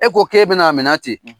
E ko k'e bɛna amina ten